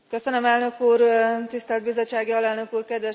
Tisztelt bizottsági alelnök úr, kedves képviselőtársak!